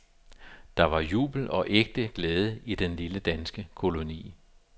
Der var jubel og ægte glæde i den lille danske koloni.